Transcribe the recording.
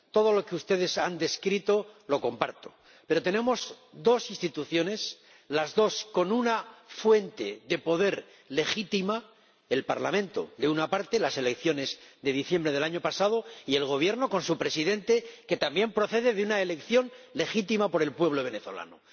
Todo lo que ustedes han descrito lo comparto, pero tenemos dos instituciones, las dos con una fuente de poder legítima el Parlamento, de una parte —las elecciones de diciembre del año pasado—, y el Gobierno con su Presidente, que también procede de una elección legítima por el pueblo venezolano.